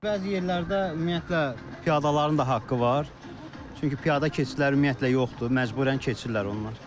Bəzi yerlərdə ümumiyyətlə piyadaların da haqqı var, çünki piyada keçidləri ümumiyyətlə yoxdur, məcburən keçirlər onlar.